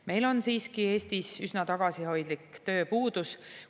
Meil on siiski Eestis üsna tagasihoidlik tööpuudus.